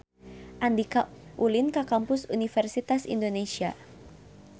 Andika ulin ka Kampus Universitas Indonesia